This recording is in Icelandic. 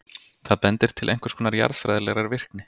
það bendir til einhvers konar jarðfræðilegrar virkni